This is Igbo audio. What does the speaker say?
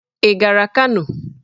Ị gara Kano?